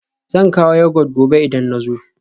Zan kawo Yogurt gobe idan na zo